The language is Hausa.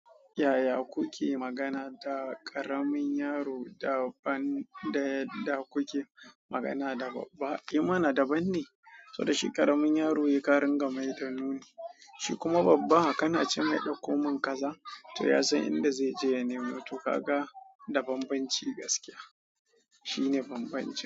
Yaya kuke magana da ƙaramin yaro da kuke magana da babba? A mana daban ne, saboda shi ƙaramin yaro yake karin gamai da nuni, shi kuma babba haka na ce mai ɗauko min kaza, to ya san inda zai je ya nemo. To ka ga da banbanci gaskiya. Shine banbanci.